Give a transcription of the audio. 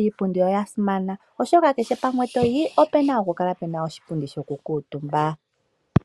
Iipundi oya simana oshoka kehe mpa toyi opena oku kala iipundi yo ku kala omutuma.